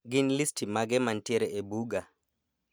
Gin listi mage mantiere e buga